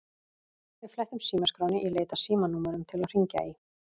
Við flettum símaskránni í leit að símanúmerum til að hringja í.